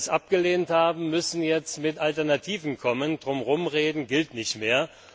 Diejenigen, die das abgelehnt haben, müssen jetzt mit Alternativen kommen, drum herum reden gilt nicht mehr.